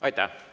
Aitäh!